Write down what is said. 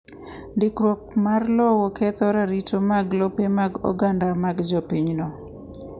Ndikruok mar lowo ketho ratiro mag lope mag oganda ma jopinyno.